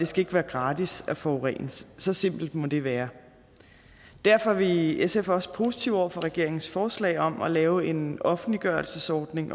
skal være gratis at forurene så simpelt må det være derfor er vi i sf også positive over for regeringens forslag om at lave en offentliggørelsesordning